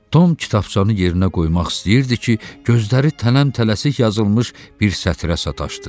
Tom kitabçanı yerinə qoymaq istəyirdi ki, gözləri tələm-tələsik yazılmış bir sətrə sataşdı.